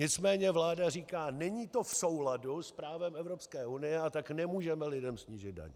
Nicméně vláda říká: Není to v souladu s právem Evropské unie, a tak nemůžeme lidem snížit daně.